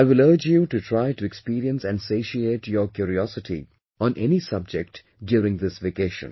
I will urge you to try to experience and satiate your curiosity on any subject during this vacation